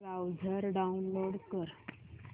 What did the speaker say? browser download कर